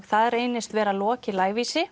það reynist vera Loki